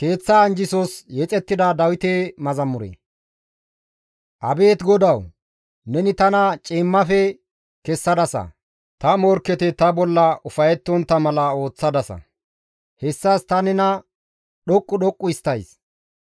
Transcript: Abeet GODAWU! Neni tana ciimmafe kessadasa; ta morkketi ta bolla ufayettontta mala ooththadasa; hessas ta nena dhoqqu dhoqqu histtays.